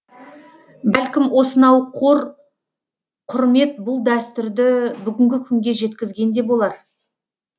бәлкім осынау қор құрмет бұл дәстүрді бүгінгі күнге жеткізген де болар